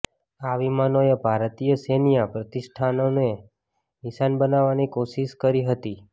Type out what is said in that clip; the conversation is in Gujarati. આ વિમાનોએ ભારતીય સૈન્ય પ્રતિષ્ઠાનોને નિશાન બનાવવાની કોશિશ કરી હતી